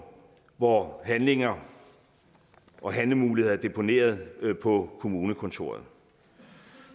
hvor handlinger og handlemuligheder er deponeret på kommunekontoret